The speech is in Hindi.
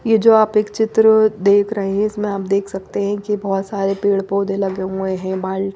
ये जो आप एक चित्र देख रहे हैं इसमें आप देख सकते हैं कि बहुत सारे पेड़-पौधे लगे हुए हैं बाल--